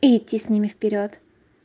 и идти с ними вперёд